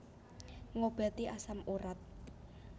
Ngobati asam urat